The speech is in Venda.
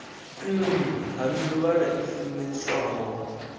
nn ha mivhala i funeswaho